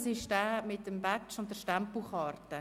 es geht um den Badge und die Stempelkarte.